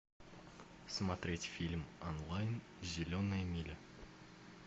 смотреть фильм онлайн зеленая миля